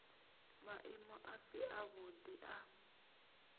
maimo a si avhuḓi a